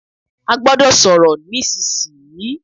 A gbọ́dọ̀ sọ̀rọ̀ nísìsi yìí!